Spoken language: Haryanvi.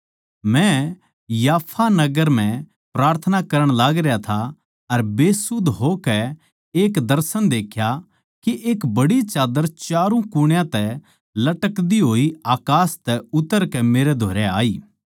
मै याफा नगर म्ह प्रार्थना करण लागरया था अर बेसुध होकै एक दर्शन देख्या के एक बड्डी चाद्दर च्यारू कुणयां तै लटकदी होई अकास तै उतरकै मेरै धोरै आई